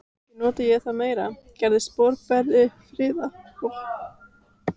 Kannski nota ég það meira, gerist boðberi friðar.